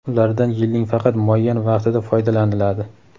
ulardan yilning faqat muayyan vaqtida foydalaniladi.